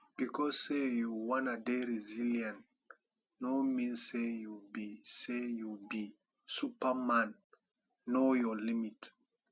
because sey you wanna dey resillient no mean sey you be sey you be supaman know your limit